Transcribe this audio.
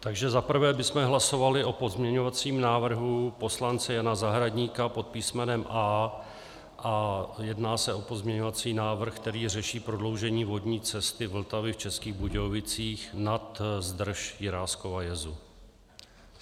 Takže za prvé bychom hlasovali o pozměňovacím návrhu poslance Jana Zahradníka pod písmenem A a jedná se o pozměňovací návrh, který řeší prodloužení vodní cesty Vltavy v Českých Budějovicích nad zdrž Jiráskova jezu.